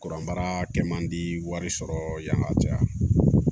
Kuranbaara kɛ mandi wari sɔrɔ yan ka caya